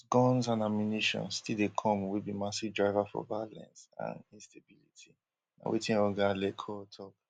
but guns and ammunition still dey come wey be massive driver for violence and instability na wetin oga le cour tok